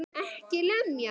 EKKI LEMJA!